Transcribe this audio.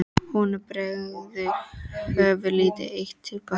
Honum bregður, hörfar lítið eitt til baka.